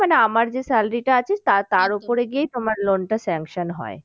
মানে আমার যে salary টা আছে তার তার গিয়েই তোমার loan টা sanction হয়।